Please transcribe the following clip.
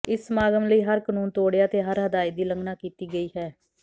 ਇਸ ਸਮਾਗਮ ਲਈ ਹਰ ਕਾਨੂੰਨ ਤੋੜਿਆ ਤੇ ਹਰ ਹਦਾਇਤ ਦੀ ਉਲੰਘਣਾ ਕੀਤੀ ਗਈ ਹੈ